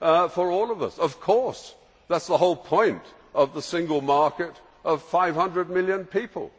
for all of us. That is the whole point of the single market of 500 million people.